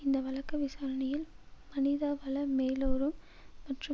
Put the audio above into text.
இந்த வழக்கு விசாரணையில் மனிதவள மேலாரும் மற்றும்